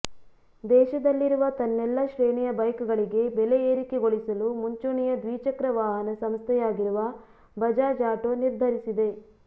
ದೇಶದಲ್ಲಿರುವ ತನ್ನೆಲ್ಲ ಶ್ರೇಣಿಯ ಬೈಕ್ ಗಳಿಗೆ ಬೆಲೆ ಏರಿಕೆಗೊಳಿಸಲು ಮುಂಚೂಣಿಯ ದ್ವಿಚಕ್ರ ವಾಹನ ಸಂಸ್ಥೆಯಾಗಿರುವ ಬಜಾಜ್ ಆಟೋ ನಿರ್ಧರಿಸಿದೆ